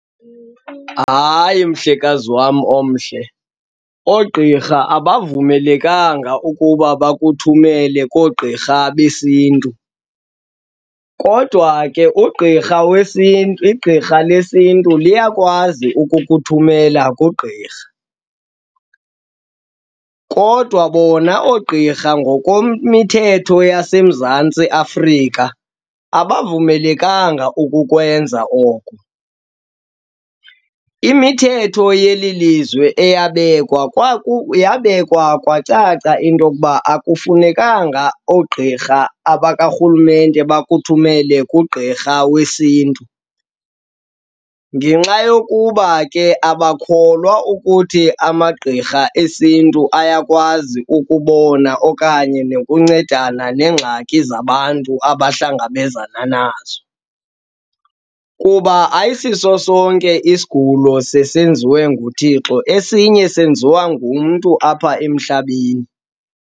Hayi, mhlekazi wam omhle, oogqirha abavumelekanga ukuba bakuthumele koogqirha besiNtu kodwa ke ugqirha wesiNtu, igqirha lesiNtu liyakwazi ukuthumela kugqirha. Kodwa bona oogqirha ngokomithetho yaseMzantsi Afrika, abavumelekanga ukukwenza oko. Imithetho yeli lizwe eyabekwa yabekwa kwacaca into yokuba akufunekanga oogqirha abakarhulumente bakuthumele kugqirha wesiNtu ngenxa yokuba ke abakholwa ukuthi amagqirha esiNtu ayakwazi ukubona okanye nokuncedisana neengxaki zabantu abahlangabezana nazo. Kuba ayisiso sonke isigulo seseziwe nguThixo, esinye senziwa ngumntu apha emhlabeni.